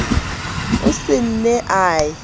o se ne a ye